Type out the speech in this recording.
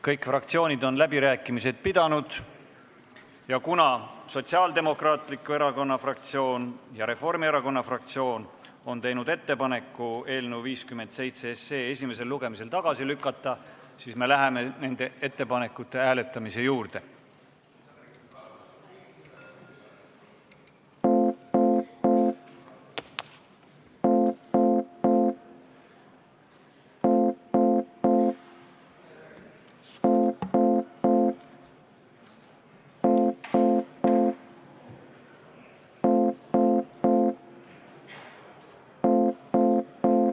Kõik fraktsioonid on läbirääkimised pidanud ja kuna Sotsiaaldemokraatliku Erakonna fraktsioon ja Reformierakonna fraktsioon on teinud ettepaneku eelnõu 57 SE esimesel lugemisel tagasi lükata, siis me läheme nende ettepanekute hääletamise juurde.